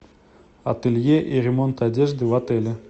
ателье и ремонт одежды в отеле